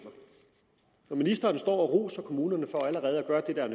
når ministeren står og roser kommunerne for allerede at gøre det der er